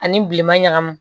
Ani bilema ɲagami